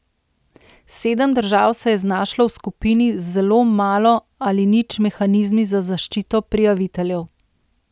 Sedem držav se je znašlo v skupini z zelo malo ali nič mehanizmi za zaščito prijaviteljev.